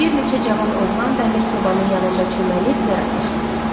Bir neçə cavan oğlan dəmir sobanın yanında çömbəlib zər atırdı.